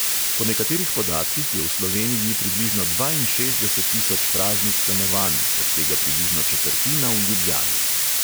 Po nekaterih podatkih je v sloveniji približno dvainšestdeset tisoč praznih stanovanj, od tega približno četrtina v ljubljani.